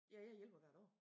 Ja jeg hjælper hvert år